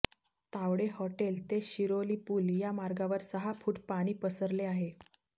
Tawde hotel ते शिरोली पूल या मार्गावर सहा फूट पाणी पसरले आहे